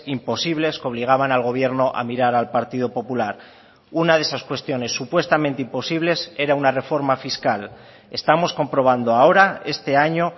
imposibles que obligaban al gobierno a mirar al partido popular una de esas cuestiones supuestamente imposibles era una reforma fiscal estamos comprobando ahora este año